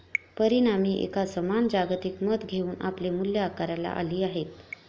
परिणामी एक समान जागतिक मत घेऊन आपली मुल्ये आकाराला आली आहेत.